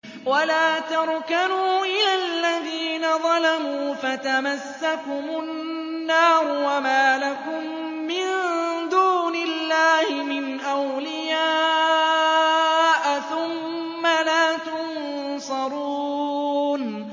وَلَا تَرْكَنُوا إِلَى الَّذِينَ ظَلَمُوا فَتَمَسَّكُمُ النَّارُ وَمَا لَكُم مِّن دُونِ اللَّهِ مِنْ أَوْلِيَاءَ ثُمَّ لَا تُنصَرُونَ